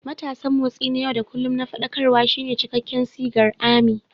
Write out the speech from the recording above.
Matasan Motsi na yau da kullun na Faɗakarwa" shine cikakken sigar "ARMY."